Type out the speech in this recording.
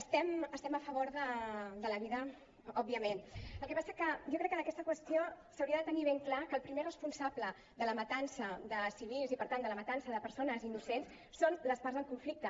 estem a favor de la vida òbviament el que passa que jo crec que en aquesta qüestió s’hauria de tenir ben clar que el primer responsable de la matança de civils i per tant de la matança de persones innocents són les parts en conflicte